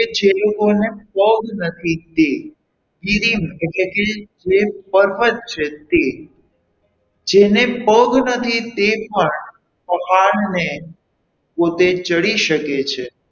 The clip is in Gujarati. જે લોકો ને પગ નથી તે કીડીમ એટલે કે જે purpose છે તે જેને પગ નથી તે પણ પહાણને પોતે ચડી શકે છે.